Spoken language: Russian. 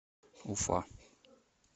уфа